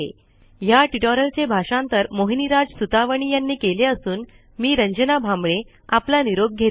ह्या ट्युटोरियलचे भाषांतर मोहिनीराज सुतवणी यांनी केले असून मी रंजना भांबळे आपला निरोप घेते